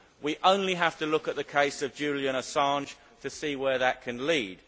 We only have to look at the case of Julian Assange to see where that can lead.